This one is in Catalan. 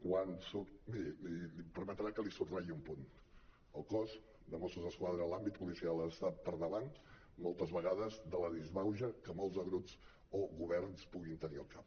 miri em permetrà que li subratlli un punt el cos de mossos d’esquadra l’àmbit policial ha d’estar per davant moltes vegades de la disbauxa que molts grups o governs puguin tenir al cap